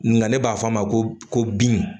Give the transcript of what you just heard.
Nga ne b'a fɔ a ma ko bin